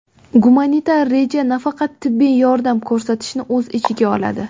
Gumanitar reja nafaqat tibbiy yordam ko‘rsatishni o‘z ichiga oladi.